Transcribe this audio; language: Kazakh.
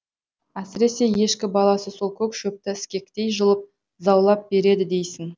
әсіресе ешкі баласы сол көк шөпті іскектей жұлып заулап береді дейсің